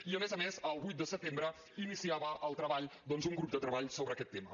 i a més a més el vuit de setembre iniciava el treball un grup de treball sobre aquest tema